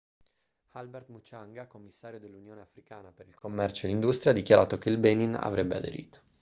albert muchanga commissario dell'unione africana per il commercio e l'industria ha dichiarato che il benin avrebbe aderito